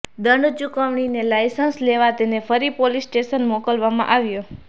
દંડ ચૂકવીને લાઇસન્સ લેવા તેને ફરી પોલીસ સ્ટેશન મોકલવામાં આવ્યો